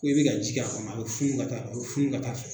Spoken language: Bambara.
Ko i bɛ ka ji a ma a ye fun ka a ye fun kata fɛ